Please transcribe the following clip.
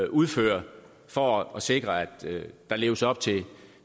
udfører for at sikre at der leves op til